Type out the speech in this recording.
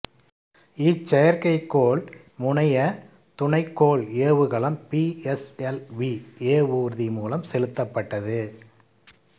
இச்செயற்கைக்கோள் முனைய துணைக்கோள் ஏவுகலம் பி எஸ் எல் வி ஏவூர்தி மூலம் செலுத்தப்பட்டது